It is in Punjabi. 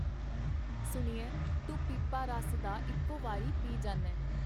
ਸੁਣਿਐ ਤੂੰ ਪੀਪਾ ਰਸ ਦਾ ਇੱਕੋ ਵਾਰੀ ਪੀ ਜਾਨੈਂ.